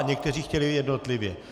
A někteří chtějí jednotlivě.